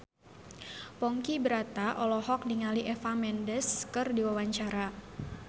Ponky Brata olohok ningali Eva Mendes keur diwawancara